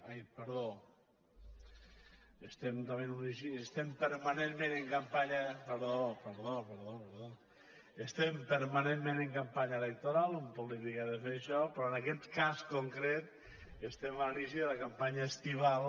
ai perdó estem permanentment en campanya perdó perdó estem permanentment en campanya electoral un polític ha de fer això però en aquest cas concret estem a l’inici de la campanya estival